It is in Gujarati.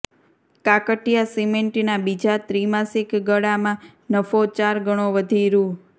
કાકટિયા સિમેન્ટના બીજા ત્રિમાસિક ગાળામાં નફો ચાર ગણો વધી રૂ